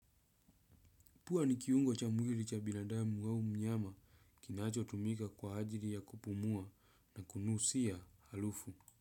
Pua ni kiungo cha mwili cha binadamu au mnyama kinachotumika kwa ajili ya kupumua na kunusia harufu.